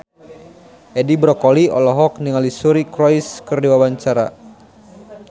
Edi Brokoli olohok ningali Suri Cruise keur diwawancara